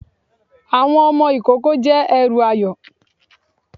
Àwọn ọmọ ìkoko jẹ èrù ayó